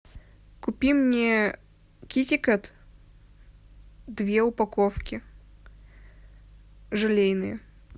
купи мне китикет две упаковки желейные